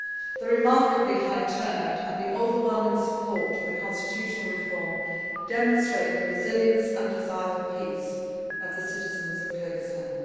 The remarkably high turnout and the overwhelming support for the constitutional reform demonstrate the resilience and desire for peace of the citizens of Kyrgyzstan.